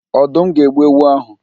Ọdụm ga-egbu ewu áhụ̀.